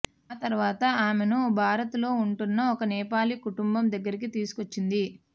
ఆ తరవాత ఆమెను భారత్లో ఉంటోన్న ఓ నేపాలీ కుటుంబం దగ్గరికి తీసుకొచ్చింది